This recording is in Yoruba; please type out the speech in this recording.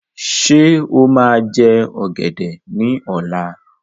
Ṣé́ ó máa jẹ ọgẹdẹ ní ọ̀la?